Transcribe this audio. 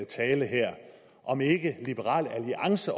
tale her om ikke liberal alliance